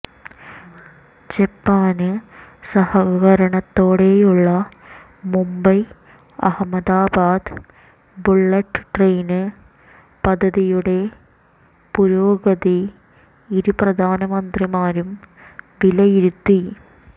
ജപ്പാന് സഹകരണത്തോടെയുള്ള Mumbai Ahmedabad bullet train പദ്ധതിയുടെ പുരോഗതി ഇരുപ്രധാനമന്ത്രിമാരും വിലയിരുത്തി